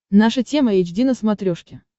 наша тема эйч ди на смотрешке